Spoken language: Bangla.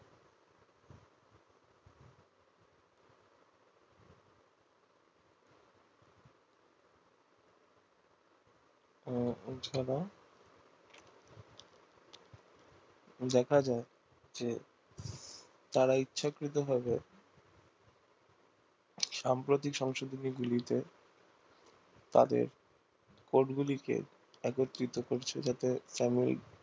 দেখা যায় যে তারা ইচ্ছাকৃত ভাবে সাম্প্রতিক সংশোধনীগুলিতে তাদের court গুলি কে একত্রিত করছে যাতে সাময়িক